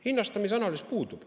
Hinnastamise analüüs puudub.